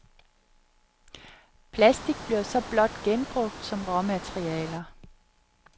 Platik bliver så blot genbrugt som råmaterialer.